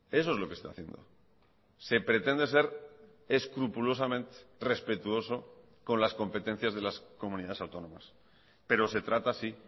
eso es lo que está haciendo se pretende ser escrupulosamente respetuoso con las competencias de las comunidades autónomas pero se trata así